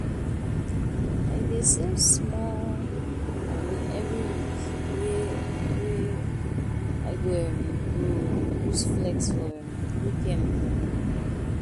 I dey save small moni every week wey wey I um go use flex for um weekend. um